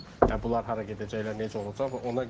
Hə bunlar hara gedəcəklər, necə olacaq?